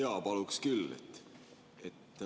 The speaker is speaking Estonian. Jaa, paluksin küll.